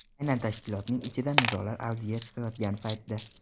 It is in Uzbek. Aynan tashkilotning ichida nizolar avjiga chiqayotgan paytda.